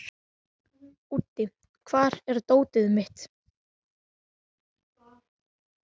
Úddi, hvar er dótið mitt?